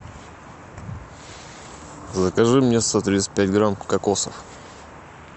закажи мне сто тридцать пять грамм кокосов